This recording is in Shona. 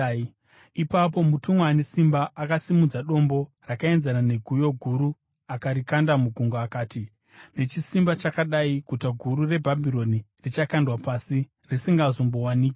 Ipapo mutumwa ane simba akasimudza dombo rakaenzana neguyo guru akarikanda mugungwa, akati: “Nechisimba chakadai guta guru reBhabhironi richakandwa pasi, risingazombowanikwazve.